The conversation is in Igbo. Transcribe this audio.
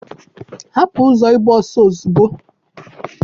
hapụ ụzọ ịgba ọsọ ozugbo